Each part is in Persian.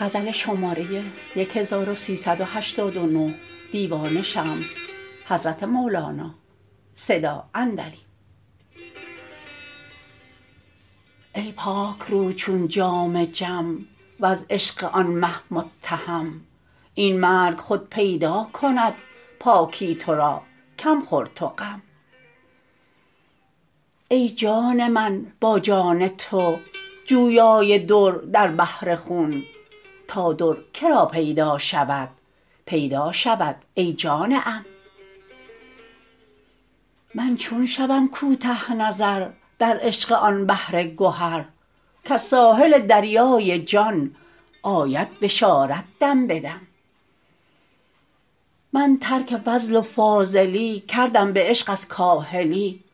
ای پاک رو چون جام جم وز عشق آن مه متهم این مرگ خود پیدا کند پاکی تو را کم خور تو غم ای جان من با جان تو جویای در در بحر خون تا در که را پیدا شود پیدا شود ای جان عم من چون شوم کوته نظر در عشق آن بحر گهر کز ساحل دریای جان آید بشارت دم به دم من ترک فضل و فاضلی کردم به عشق از کاهلی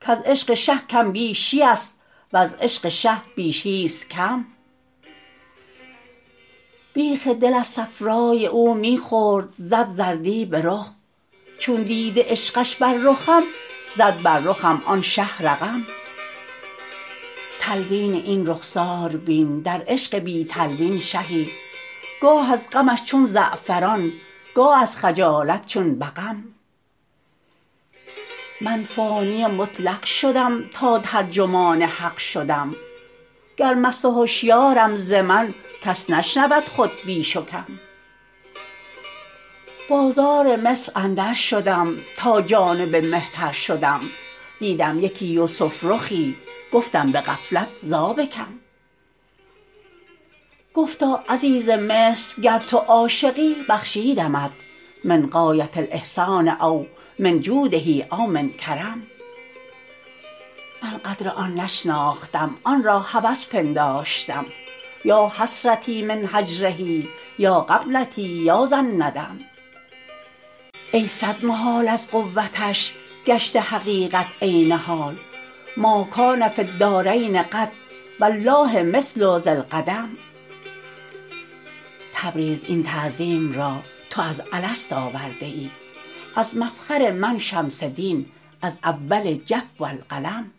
کز عشق شه کم بیشی است وز عشق شه بیشی است کم بیخ دل از صفرای او می خورد زد زردی به رخ چون دیده عشقش بر رخم زد بر رخم آن شه رقم تلوین این رخسار بین در عشق بی تلوین شهی گاه از غمش چون زعفران گاه از خجالت چون بقم من فانی مطلق شدم تا ترجمان حق شدم گر مست و هشیارم ز من کس نشنود خود بیش و کم بازار مصر اندرشدم تا جانب مهتر شدم دیدم یکی یوسف رخی گفتم به غفلت ذابکم گفتا عزیز مصر گر تو عاشقی بخشیدمت من غایه الاحسان او من جوده او من کرم من قدر آن نشناختم آن را هوس پنداشتم یا حسرتی من هجره یا غبنتی یا ذا الندم ای صد محال از قوتش گشته حقیقت عین حال ما کان فی الدارین قط و الله مثل ذالقدم تبریز این تعظیم را تو از الست آورده ای از مفخر من شمس دین از اول جف القلم